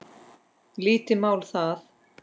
Lítið mál það.